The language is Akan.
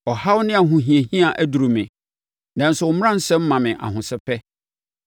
Ɔhaw ne ahohiahia aduru me, nanso wo mmaransɛm ma me ahosɛpɛ.